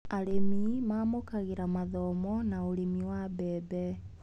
Arĩmi mamukagĩra mathomo na ũrĩmi wa mbembe.